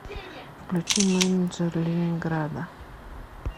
включи менеджер ленинграда